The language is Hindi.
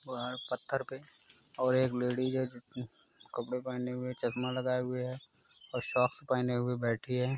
बाहर पत्थर पे और एक लेडिज है कपड़े पहने हुए चसमा लगाए हुए है और सॉक्स पहने हुए बैठी है।